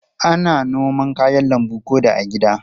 Ana noma kayan lambu ko da a gida.